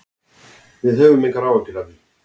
Við höfum engar áhyggjur af því.